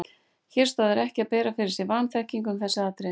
Hér stoðar ekki að bera fyrir sig vanþekkingu um þessi atriði.